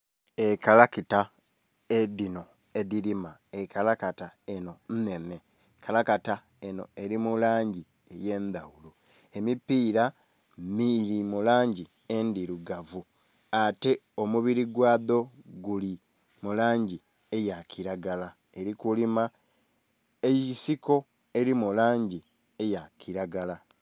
Ekalakita dhino edhilima, ekalakita enho nhenhe ekalakita enho eli mu langi ey'endhaghulo, emipiira gili mu langi endhilugavu ate omubili gwa dho guli mu langi eya kilagala. Eli kulima ensiko eli mu langi eya kilagala.